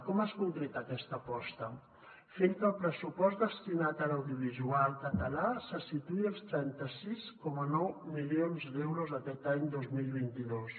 com es concreta aquesta aposta fent que el pressupost destinat a l’audiovisual català se situï als trenta sis coma nou milions d’euros aquest any dos mil vint dos